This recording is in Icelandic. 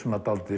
dálítið